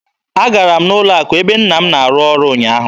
Agara m n'ụlọ akụ ebe nna m na-arụ ọrụ ụnyaahụ.